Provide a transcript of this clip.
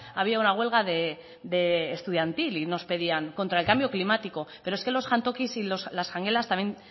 había una huelga estudiantil contra el cambio climático pero es que los jantokis y las jangelas también